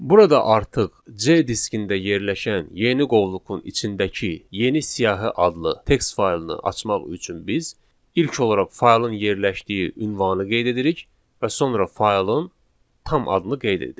Burada artıq C diskində yerləşən yeni qovluqun içindəki yeni siyahı adlı text faylını açmaq üçün biz ilk olaraq faylın yerləşdiyi ünvanı qeyd edirik və sonra faylın tam adını qeyd edirik.